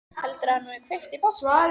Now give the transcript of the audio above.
Heldurðu að hann hafi kveikt í bátnum?